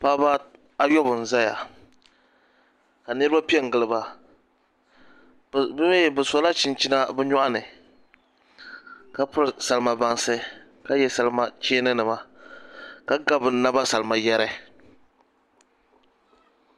Paɣaba ayobu n ʒɛya ka niraba piɛ n giliba bi mii sila chinchina bi nyoɣani ka piri salima bansi ka yɛ salima cheeni nima ka ga bi naba salima yɛri